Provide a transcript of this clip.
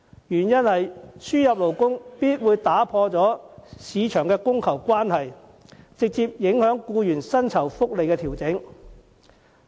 輸入外勞會打破勞工市場的供求關係，直接影響本地僱員的薪酬福利。